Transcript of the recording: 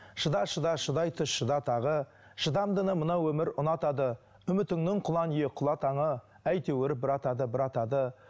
шыда шыда шыдай түс шыда тағы шыдамдыны мына өмір ұнатады үмітіңнің кұлан иек құла таңы әйтеуір бір атады бір атады